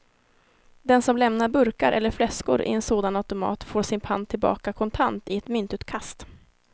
Den som lämnar burkar eller flaskor i en sådan automat får sin pant tillbaka kontant i ett myntutkast.